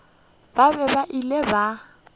ba be ba ile ba